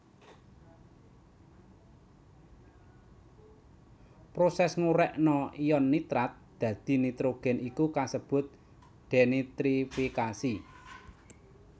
Prosès ngurèkna ion nitrat dadi nitrogén iku kasebut dénitrifikasi